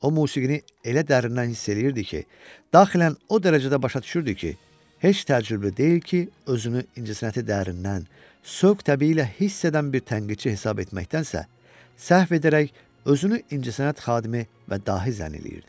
O musiqini elə dərindən hiss eləyirdi ki, daxilən o dərəcədə başa düşürdü ki, heç təəccüblü deyil ki, özünü incəsənəti dərindən, sövq təbii ilə hiss edən bir tənqidçi hesab etməkdənsə, səhv edərək özünü incəsənət xadimi və dahi zənn eləyirdi.